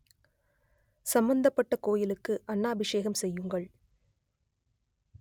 சம்மந்தப்பட்ட கோயிலுக்கு அன்னாபிஷேகம் செய்யுங்கள்